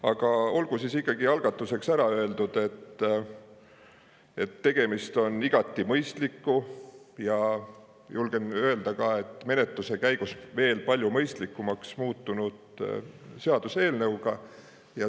Aga olgu algatuseks ikkagi ära öeldud, et tegemist on igati mõistliku, ja julgen öelda ka, et menetluse käigus veel palju mõistlikumaks muutunud seaduseelnõuga.